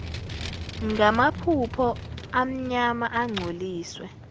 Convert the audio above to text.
ngamaphaphu amnyama angcoliswe